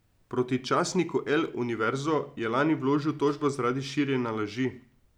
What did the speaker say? Proti časniku El Universo je lani vložil tožbo zaradi širjenja laži.